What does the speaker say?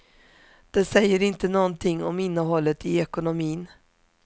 Det säger inte någonting om innehållet i ekonomin.